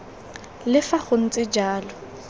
le fa go ntse jalo